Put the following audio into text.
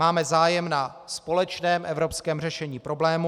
Máme zájem na společném evropském řešení problému.